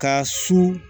Ka su